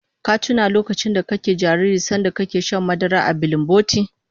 Ka tuna lokacin kana jariri sanda kake shan madara a bilinboti?